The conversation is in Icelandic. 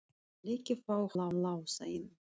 Ég vil ekki fá hann Lása inn.